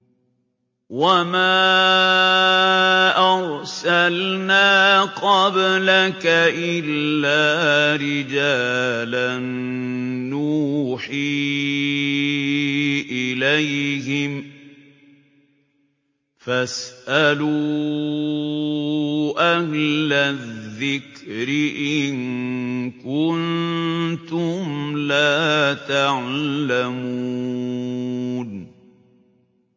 وَمَا أَرْسَلْنَا قَبْلَكَ إِلَّا رِجَالًا نُّوحِي إِلَيْهِمْ ۖ فَاسْأَلُوا أَهْلَ الذِّكْرِ إِن كُنتُمْ لَا تَعْلَمُونَ